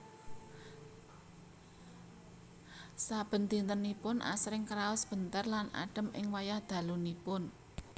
Saben dintenipun asring kraos benter lan adhem ing wayah dalunipun